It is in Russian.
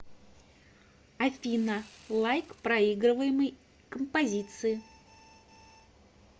афина лайк проигрываемой композиции